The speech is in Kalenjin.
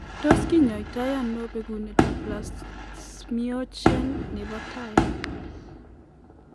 Tos kinyaita ano bekunetab plasminogen nebo tai?